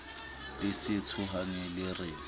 le se tshohane le re